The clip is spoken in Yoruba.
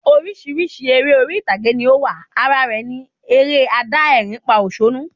Orísirísi eré orí ìtàgé ni o wa, ara rẹ ni eré adá ẹ̀rín pa òsónú